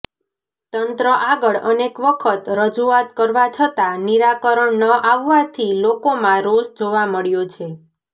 તંત્ર આગળ અનેકવખત રજૂઆત કરવા છતાં નિરાકરણ ન આવવાથી લોકોમાં રોષ જોવા મળ્યો છે